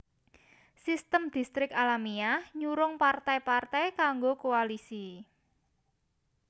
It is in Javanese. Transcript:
Sistem Distrik alamiah nyurung partai partai kanggo koalisi